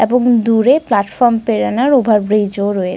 দূরে কিছু যাত্রী দেখা যাচ্ছে যারা প্লাটফর্মে নিচে বসে রয়েছেন কিছুজন ঘোরাঘুরি কর --